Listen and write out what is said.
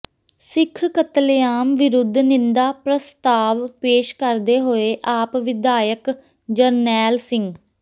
ਸਿੱਖ ਕਤਲੇਆਮ ਵਿਰੁੱਧ ਨਿੰਦਾ ਪ੍ਰਸਤਾਵ ਪੇਸ਼ ਕਰਦੇ ਹੋਏ ਆਪ ਵਿਧਾਇਕ ਜਰਨੈਲ ਸਿੰਘ